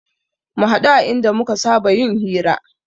Mu haɗu a inda muka saba yin hira